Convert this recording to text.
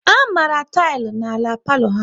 A mara tilỊ na-ala palo ha